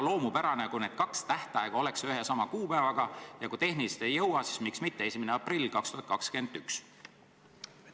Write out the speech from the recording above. Oleks väga loomulik, kui oleks üks ja sama kuupäev ja kui tehniliselt ei jõua, siis miks mitte 1. aprill 2021?